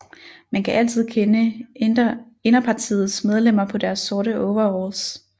Man kan altid kende Inderpartiets medlemmer på deres sorte overalls